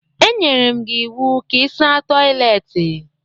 E nyere m gị iwu ka ị saa toịletị!